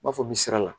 N b'a fɔ min sira la